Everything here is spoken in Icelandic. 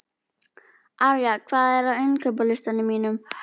Arja, hvað er á innkaupalistanum mínum?